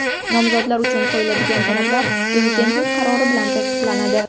Nomzodlar uchun qo‘yiladigan talablar Prezidentning qarori bilan tasdiqlanadi.